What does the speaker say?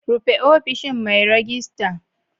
Rufe ofishin mai ragista.